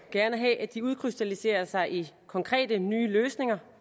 gerne have at de udkrystalliserer sig i konkrete nye løsninger